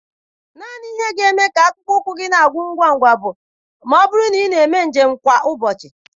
Naanị ihe ga-eme ka akpụkpọ ụkwụ gị na-agwụ ngwa ngwa bụ ma ọ bụrụ na ị na-eme njem kwa ụbọchị.